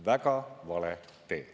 Väga vale tee.